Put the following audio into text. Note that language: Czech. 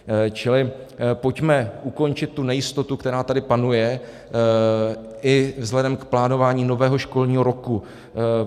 Čili pojďme ukončit tu nejistotu, která tady panuje i vzhledem k plánování nového školního roku.